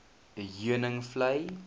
heuningvlei